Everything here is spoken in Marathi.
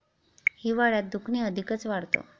हिवाळ्यात दुखणे अधिकच वाढतं.